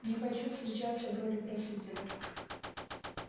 не хочу встречаться в роли просителя